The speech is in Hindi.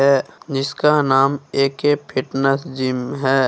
ये जिसका नाम ए_के फिटनेस जिम है।